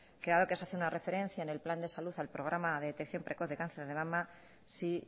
que dado que se hace una referencia en el plan de salud al programa de detección precoz de cáncer de mama sí